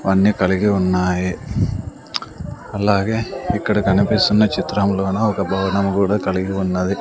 వన్ని కలిగి ఉన్నాయి అలాగే ఇక్కడ కనిపిస్తున్న చిత్రంలోన ఒక భవనము కూడా కలిగి ఉన్నది.